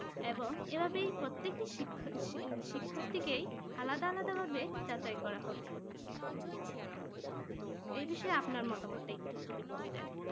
এবংএভাবেই প্রত্যেকেটি শিক্ষা শিক্ষার্থীকে আলাদা আলাদা ভাবে যাচাই করা হবে এই বিষয়ে আপনার মতামতটা যদি বলতেন?